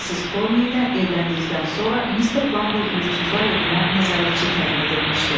Missis Korni ilə evləndikdən sonra Mister Bumble yurdsuzlar evinə nəzarətçi təyin edilmişdi.